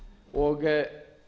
og er